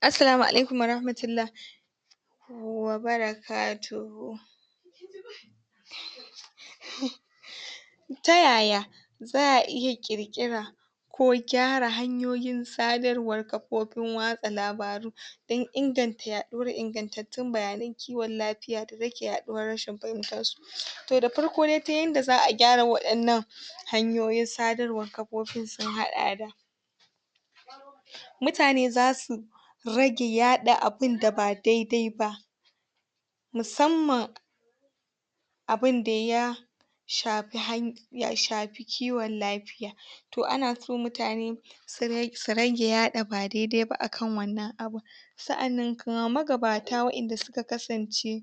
Assalamu alaikum warahamatulla wabarakatuhu. Ta yaya za’a iya kirkira ko gyara hanyoyin sadarwar kafofin watsa labaru dan inganta yaduwar ingantattun bayanan kiwon lafiya da rage yaduwar rashin fahimtar su. To da farko dai ta yanda za’a gyara wadannan hanyoyin sadarwan kafofin sun hada da, mutane zasu rage yada abun da ba daidai ba musamman abin da ya shafi han shafi kiwon lafiya, to ana so mutane su su rage yada ba daidai ba akan wannan abun sa’annan kuma magabata wayanda suka kasance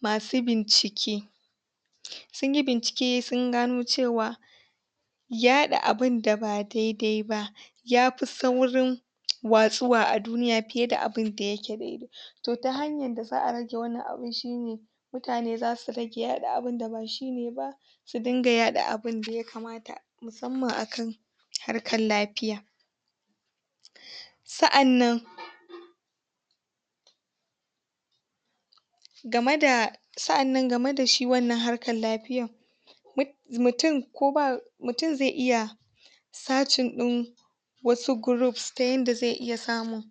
masu binkice, sunyi bincike sun gano cewa yaɗa abun da ba daidai ba yafi saurin watsuwa a duniya fiye da abun da yake daidai to ta hanyan da za’a rage wannan abin shine mutane zasu rage yada abun da ba shine ba su yaɗa abun da ya kamata musamman akan harkan lafiya, sa’annan game da sa’annan game da shi wannan harkan lafiyan mutun ko ba mutun zai iya searching din wasu groups ta yanda zai iya samun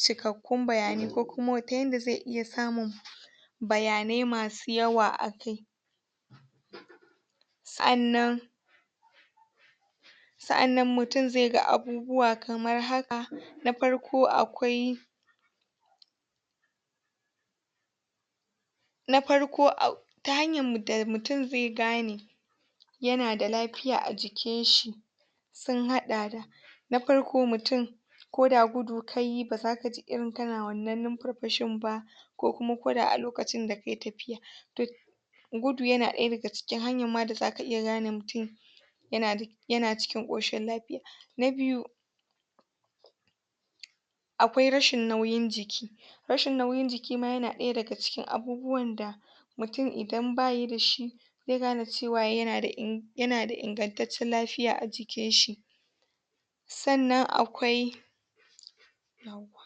cikakkun bayanai ko kuma ta yanda zai iya samun bayanai masu yawa akai, sa’annan sa’annan mutun zai ga abubuwa kamar haka. Na farko akwai na farko ak ta hanyan da mutun zai gane yana da lafiya a jikin shi sun hada da na farko mutun koda gudu kayi bazaka ji irin kana wannan numfarfashin ba ko kuma koda a lokacin da kai tafiya, to gudu yana daya daga cikin hanyan ma da zaka iya gane mutun yana da yana cikin koshin lafiya. Na biyu akwai rashin nauyin jiki, rashin nauyin jiki ma yana daya daga cikin abubuwan da mutun idan bayi da shi zai gane cewa yana da inganceccen lafiya a jikin shi, sannan akwai yawwa.